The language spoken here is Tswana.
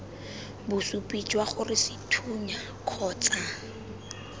bosupi jwa gore sethunya kgotsa